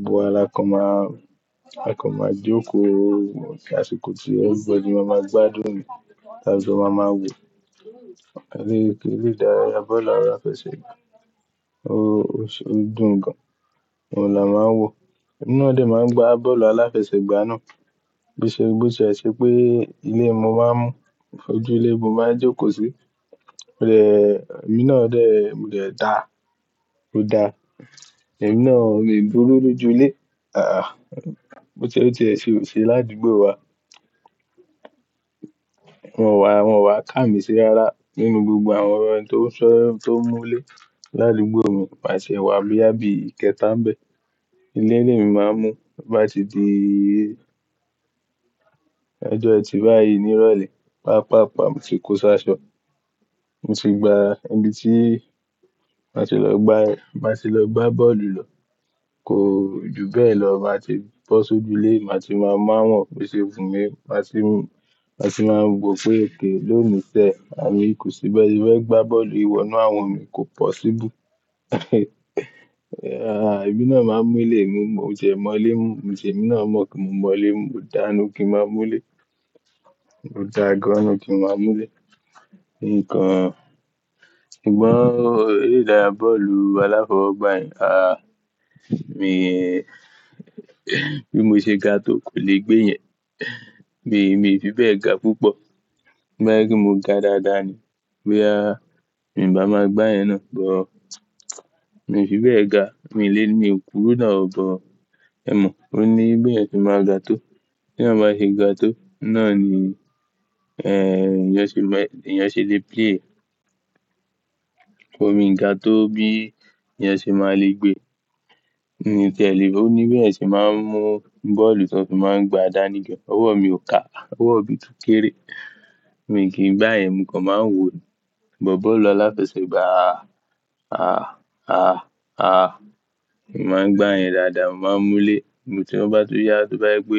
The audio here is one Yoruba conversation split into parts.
Gbogbo wa la kan máa, A kan máa jókòó àsìkò tí everybody máa máa gbádùn e ni, à jọ máa máa wò. Erédàráyà bọ́ọ̀lù aláfẹsẹ̀gbá ó dùn gan an. Òun làá máa wò. Emi náa dè máa ń gba bọ́ọ̀lù aláfẹsẹ̀gbá náà. Bíṣe Bo si ẹ ṣẹ pé ilé ni mo máa ń mú, ojú ilé mo máa ń jókòó sí. Emi náà dè, mo de dà, mò dàa. Èmi náà, mi buru loju ile Bó ti ẹ ṣẹ o ṣe ládùgbò wa. Wọ́n wá, wọ́n ti e wá ká mi sí ara nínú gbogbo àwọn ẹni tó ń sọ, tó ń mú lé ládùgbò mi máṣe wà bí àbí ìkẹta n bẹ. Ilé lemi máa ń mú bá ti di, ọjọ́ ẹti báyìí ní ìrọ̀lẹ́. Pàá-pàá-paa mo ti kó ṣáṣọ. Mo ti gba ibi tí má ti lọ gbá, má ti lọ gbá bọ́ọ̀lù lọ. Kò ju bẹ́ẹ̀ lọ máa ti bọ́ sójú ilé, màá ti máa mu awọ́n bo ṣe wún mi. Màá ṣì mú, màá ṣì máa wò pé, okay, ló ńi ṣẹ, àni kò sí bẹ́ẹ̀. Bí ese fe gbá bọ́ọ̀lu ì wọ̀nú àwọn mi, kò possible. Àh, èmi náà máa ń mú ilé, mo mú, mo ti ẹ mọ́ ilé mú. Emi na mo pe mo mo ile mu, mo da ninu ki n ma mu ile Mo dà á gan inú n kí n máa mú ilé. Nǹkan, sugbọ́n erédàráyà bọ́ọ̀lù aláfọwọ́gbá yẹn, àh, mi, bí mo ṣe ga tó kò le gbé yẹn. Mi, mi fi bẹ́ẹ̀ ga púpọ̀. To ba je pe mo ga dáadáa ni. Boya mi n bá máa gbá yen náà, but, mi ò fi bẹ́ẹ̀ ga. Mi lẹ́ní, mi n kúru nà o, but, ẹ mọ̀. Ó ní bí ẹeyan ti máa ga tó. Tí ẹ bá ṣe ga tó, náà ni, eh, èèyàn ṣe lè play e. So, mi ń ga tó bí èèyàn ṣe máa le gbé. N ti ẹ́ lẹ̀, ó ní bí ẹeyan ṣe máa ń mú bọ́ọ̀lù tí wọn ṣe máa ń mu boolu ti won fi n gba dabi gan. Ọwọ́ mi ò ká, ọwọ́ mi tun kéré. Mi kìí gbá ẹyen, mo kàn máa ń wò ni. But, bọ́ọ̀lù aláfẹsẹ̀gbá, àh, àh, àh, àh, mi máa ń gbá yen dáadáa, mo máa ń mú lé. Mo tí wọ́n bá tún yá, tí wọ́n bá gbé,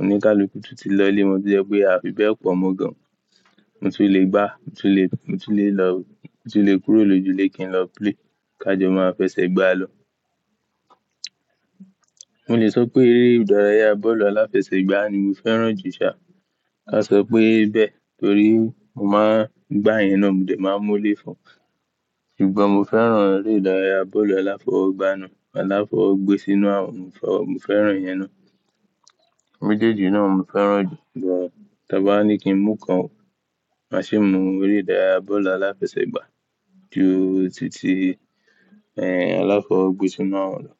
ónikalukú tun ti lọ ilé. To jẹ́ pé a fi bẹ́ẹ̀ pọ̀ mọ́ gan an. Mo ti le gbá, mo ti le, mo ti le lọ, mo ti le kúrò lójú ilé kí n lọ play. Ká jọ máa fẹsẹ̀ gbá lọ. Mo le sọ pé erédàráyà bọ́ọ̀lù aláfẹsẹ̀gbá ni mo fẹ́ràn jù ṣá. A sọ pé bẹ́ẹ̀ torí mo máa ń gbá yen náà, mo dè máa ń mú lé fún. Ìgbà mo fẹ́ràn erédàráyà bọ́ọ̀lù aláfọwọ́gbá náà. Aláfọwọ́ gbé sínú àwọn, mo fẹ́ràn yẹn náà. Méjèèjì náà mo fẹ́ràn jù, but, ti abá ní kí n mú kan wò, màá ṣe mú erédàráyà bọ́ọ̀lù aláfẹsẹ̀gbá ju títí, eh, aláfọwọ́gbe sínú àwọn lọ.